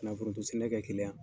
Na foronto sɛnɛ kɛ keleya